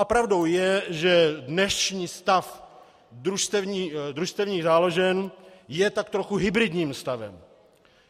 A pravdou je, že dnešní stav družstevních záložen je tak trochu hybridním stavem.